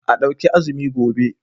A ɗauki azumi gobe.